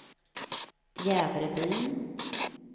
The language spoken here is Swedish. Jävrebyn